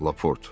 Laport.